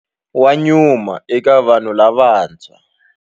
Wa nyuma eka vanhu lavantshwa.